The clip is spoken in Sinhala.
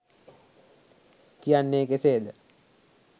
කියන්නේ කෙසේද?